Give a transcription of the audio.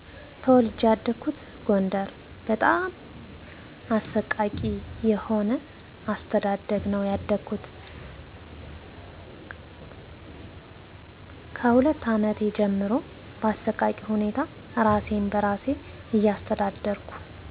ተወልጄ ያደኩት ጎደር በጣም አሰቃቂ የሆአስተዳደግነው ያደኩት ካስሁለት አመቴ ጀምሮ ባሰቃቂሁነታ እራሴን በራሴ እያስተዳደርኩ